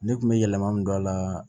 Ne kun bɛ yɛlɛma min don a la